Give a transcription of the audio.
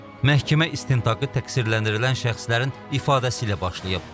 Məhkəmə istintaqı təqsirləndirilən şəxslərin ifadəsi ilə başlayıb.